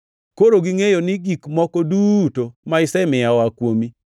Koro gingʼeyo ni gik moko duto ma isemiya oa kuomi.